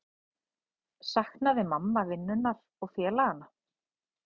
Saknaði mamma vinnunnar og félaganna?